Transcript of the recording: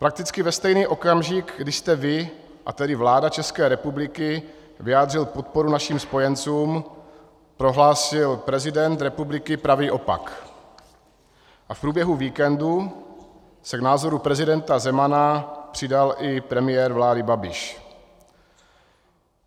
Prakticky ve stejný okamžik, kdy jste vy, a tedy vláda České republiky, vyjádřil podporu našim spojencům, prohlásil prezident republiky pravý opak a v průběhu víkendu se k názoru prezidenta Zemana přidal i premiér vlády Babiš.